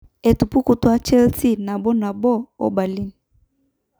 Etupikutwo Chelsea 1-1 nabo nabo o Burnley.